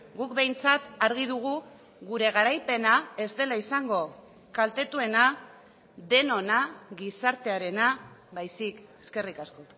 guk behintzat argi dugu gure garaipena ez dela izango kaltetuena denona gizartearena baizik eskerrik asko